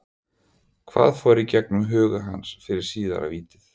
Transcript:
Hvað fór í gegnum huga hans fyrir síðara vítið?